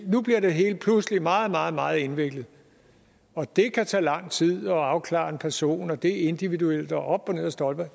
nu bliver det hele pludselig meget meget meget indviklet det kan tage lang tid at afklare en person og det er individuelt og op og ned ad stolper